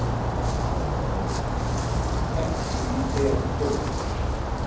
Varð ekki í Hel komið.